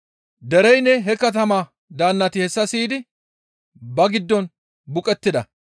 Dereynne he katamaa daannati hessa siyidi ba giddon buqettida.